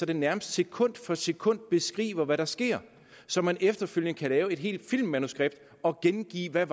den nærmest sekund for sekund beskriver hvad der sker så man efterfølgende kan lave et helt filmmanuskript og gengive hvad